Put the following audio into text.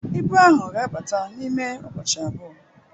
Ibu ahụ ga-abata n'ime ụbọchị abụọ